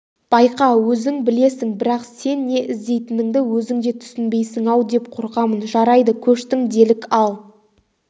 байқа өзің білесің бірақ сен не іздейтініңді өзің де түсінбейсің-ау деп қорқамын жарайды көштің делік ал